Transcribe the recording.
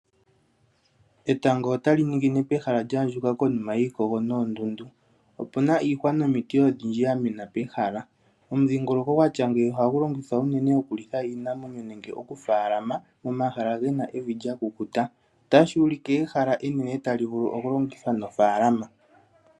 Etango otali ningine pehala lyaandjuka konima yiikogo noondundu. Opuna iihwa nomiti odhindji dhamena pehala, omudhingoloko gwatya ngeyi ohagu longithwa unene okulitha iinamwenyo nande okufaalama momahala gena evi lyakukuta. Otashi ulike ehala enene talu vulu okulongithwa mofaalama.